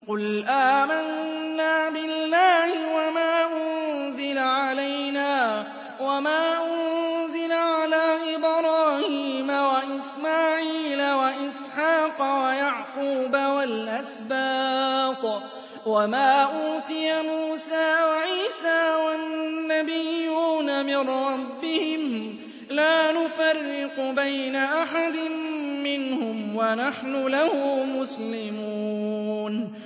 قُلْ آمَنَّا بِاللَّهِ وَمَا أُنزِلَ عَلَيْنَا وَمَا أُنزِلَ عَلَىٰ إِبْرَاهِيمَ وَإِسْمَاعِيلَ وَإِسْحَاقَ وَيَعْقُوبَ وَالْأَسْبَاطِ وَمَا أُوتِيَ مُوسَىٰ وَعِيسَىٰ وَالنَّبِيُّونَ مِن رَّبِّهِمْ لَا نُفَرِّقُ بَيْنَ أَحَدٍ مِّنْهُمْ وَنَحْنُ لَهُ مُسْلِمُونَ